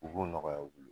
U b'o nɔgɔya u bolo